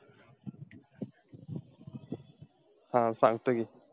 हा सांगतो कि.